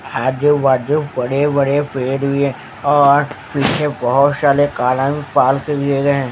आजू बाजू बड़े बड़े पेड़ भी हैं और पीछे बहोत सारे कालोनी में पार्क दिए गए हैं।